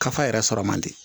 Kafa yɛrɛ sɔrɔ man di